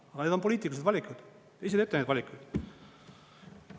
Aga need on poliitilised valikud, te ise teete neid valikuid.